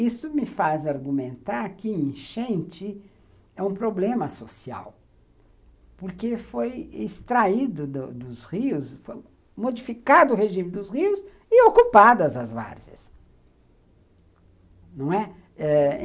Isso me faz argumentar que enchente é um problema social, porque foi extraído dos dos rios, foi modificado o regime dos rios e ocupadas as várzeas, não é?